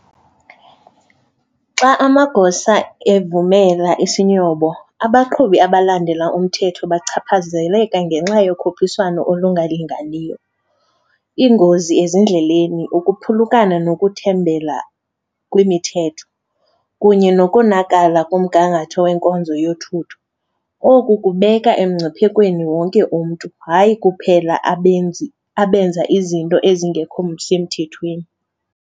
Xa amagosa evumela isinyobo abaqhubi abalandela umthetho bachaphazeleka ngenxa yokhuphiswano olungalinganiyo, iingozi ezindleleni, ukuphulukana nokuthembela kwimithetho kunye nokonakala komgangatho weenkonzo yothutho. Oku kubeka emngciphekweni wonke umntu, hayi kuphela abenzi abenza izinto ezingekho semthethweni.